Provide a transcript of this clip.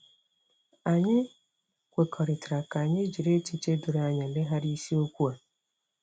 Anyị kwekọrịtara ka anyị jiri echiche doro anya legharịa isiokwu a.